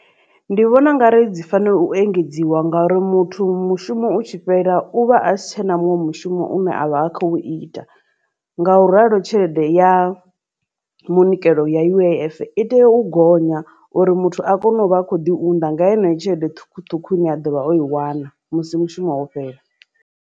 Ndi vhona ungari dzi fanela u engedziwa ngauri muthu mushumo utshi fhela u vha asi tshena muṅwe mushumo une avha a khou ita nga u ralo tshelede ya munikelo ya U_I_F i tea u gonya uri muthu a kone uvha a kho ḓi unḓa nga yeneyi tshelede ṱhukhuṱhukhu ine a ḓovha o i wana musi mushumo wo fhela.